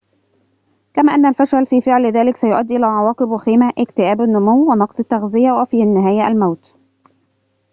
كما أن الفشل في فعل ذلك سيؤدي إلى عواقب وخيمة اكتئاب النمو ونقص التغذية وفي النهاية الموت